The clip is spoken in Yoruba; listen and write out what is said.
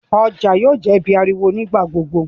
ọjà yóò jé ibí ariwo nigba-gbogbo.